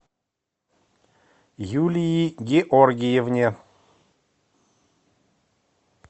юлии георгиевне